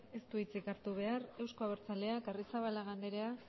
ez du hitzik hartu behar euzko abertzaleak arrizabalaga anderea